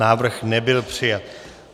Návrh nebyl přijat.